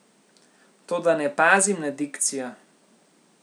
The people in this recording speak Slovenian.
Toda ne pazim na dikcijo.